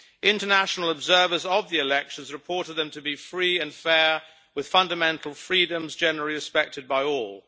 International observers of the elections reported them to be free and fair, with fundamental freedoms generally respected by all.